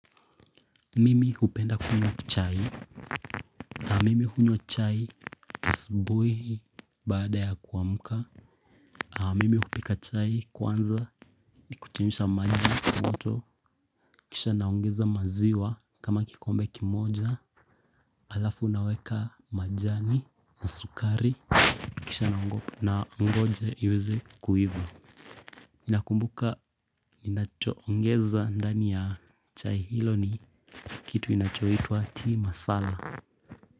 Mimi hupenda kunywa chai na mimi hunywa chai asubuhi baada ya kuamka Mimi hupika chai kwanza ni kuchemsha maji moto Kisha naongeza maziwa kama kikombe kimoja Alafu naweka majani na sukari Kisha nangoja iweze kuiva nakumbuka ninachoongeza ndani ya chai hilo ni kitu inachoitwa tea masala.